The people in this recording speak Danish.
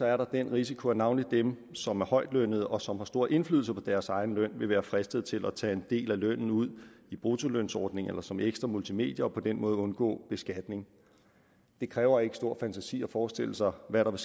er der den risiko at navnlig dem som er højtlønnede og som har stor indflydelse på deres egen løn vil være fristet til at tage en del af lønnen ud i bruttolønsordning eller som ekstra multimedier og på den måde undgå beskatning det kræver ikke stor fantasi at forestille sig hvad der